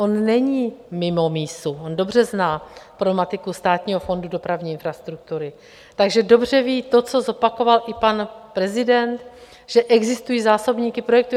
On není mimo mísu, on dobře zná problematiku Státního fondu dopravní infrastruktury, takže dobře ví to, co zopakoval i pan prezident, že existují zásobníky projektů.